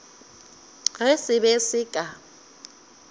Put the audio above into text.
ge se be se ka